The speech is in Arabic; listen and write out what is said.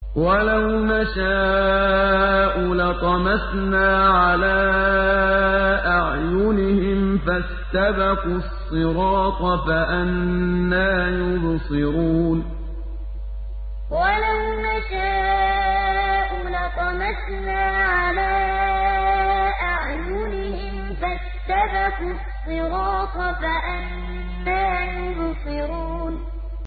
وَلَوْ نَشَاءُ لَطَمَسْنَا عَلَىٰ أَعْيُنِهِمْ فَاسْتَبَقُوا الصِّرَاطَ فَأَنَّىٰ يُبْصِرُونَ وَلَوْ نَشَاءُ لَطَمَسْنَا عَلَىٰ أَعْيُنِهِمْ فَاسْتَبَقُوا الصِّرَاطَ فَأَنَّىٰ يُبْصِرُونَ